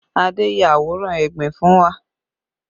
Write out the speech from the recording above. Adé ya àwòrán egbin fún wa